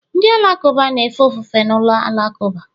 Ndị Alakụba na-efe ofufe na ụlọ alakụba